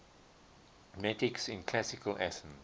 metics in classical athens